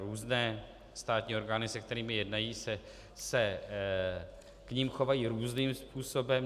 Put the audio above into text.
Různé státní orgány, se kterými jednají, se k nim chovají různým způsobem.